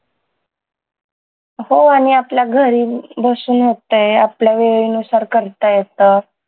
हो आणि आपल्या घरी बसून होतंय आपल्या वेळेनुसार करता येतं